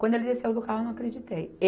Quando ele desceu do carro, eu não acreditei.